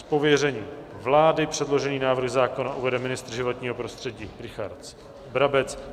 Z pověření vlády předložený návrh zákona uvede ministr životního prostředí Richard Brabec.